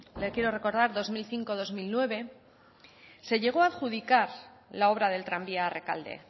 le quiero recordar dos mil cinco dos mil nueve se llegó a adjudicar la obra del tranvía a rekalde